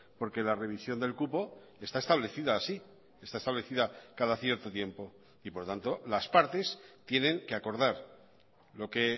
porque la revisión del cupo está establecida así está establecida cada cierto tiempo y por tanto las partes tienen que acordar lo que